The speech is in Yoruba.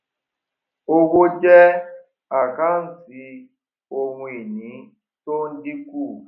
owó jẹ àkántì ohun ìní to ń dínkù